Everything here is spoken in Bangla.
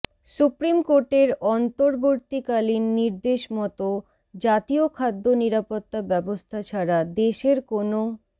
সুপ্রিম কোর্টের অন্তর্বতীকালীন নির্দেশমতো জাতীয় খাদ্য নিরাপত্তা ব্যবস্থা ছাড়া দেশের কোনও